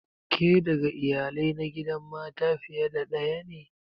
Ke daga Iyalai na gidan mata fiye da daya ne?